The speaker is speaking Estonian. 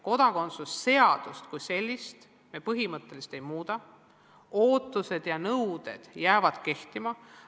Kodakondsuse seadust kui sellist me põhimõtteliselt ei muuda, ootused ja nõuded jäävad kehtima.